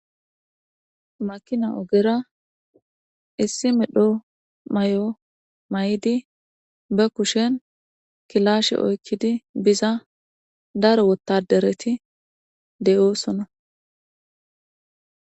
Makina ogera issi midho may7o may7idi ba kushen kilashe oykkidi biza daro wottadereti de7oosona.